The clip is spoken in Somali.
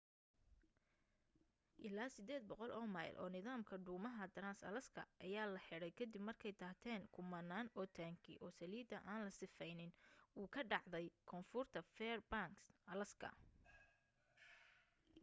ilaa 800 oo mayl oo nidaamka dhuumaha trans-alaska ayaa la xiray ka dib markay daateen kumanaan oo taangi oo saliida aan la sifeynin au ka dhacday koonfurta fairbanks alaska